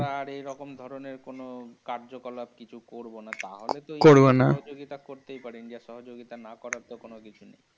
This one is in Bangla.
আর এই রকম ধরণের কোন ও কার্যকলাপ কিছু করবো না। করবো না। তাহলে তো ইন্ডিয়া সহযোগীতা করতেই পারে। ইন্ডিয়ার সহযোগিতার না করার তো কোনো কিছু নেই।